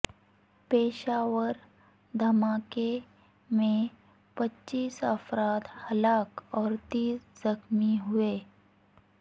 پشاور دھماکے میں پچیس افراد ہلاک اور تیس زخمی ہوئے